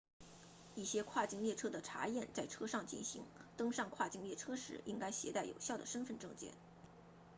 一些跨境列车的查验在车上进行登上跨境列车时应该携带有效的身份证件